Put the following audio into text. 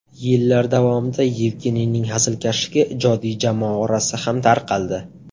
Yillar davomida Yevgeniyning hazilkashligi ijodiy jamoa orasida ham tarqaldi.